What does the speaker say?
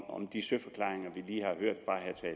om de søforklaringer